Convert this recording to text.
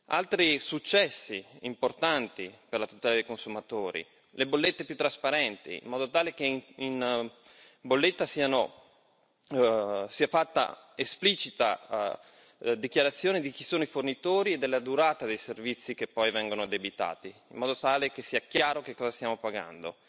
Altri successi importanti per la tutela dei consumatori sono le bollette più trasparenti, in modo tale che in bolletta sia fatta esplicita dichiarazione di chi sono i fornitori e della durata dei servizi che poi vengono addebitati, in modo tale che sia chiaro che cosa stiamo pagando.